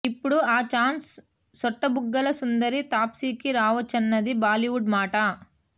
ఇప్పుడు ఆ చాన్స్ సొట్టబుగ్గల సుందరి తాప్సీకి రావొచ్చన్నది బాలీవుడ్ మాట